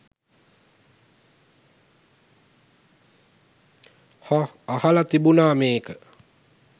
අහ් අහලා තිබුණා මේක